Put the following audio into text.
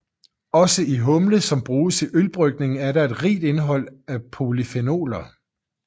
Også i humle som bruges i ølbrygning er der et rigt indhold af polyfenoler